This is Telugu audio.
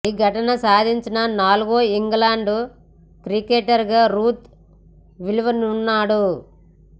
ఈ ఘనత సాధించిన నాల్గో ఇంగ్లాండ్ క్రికెటర్గా రూట్ నిలువనున్నాడు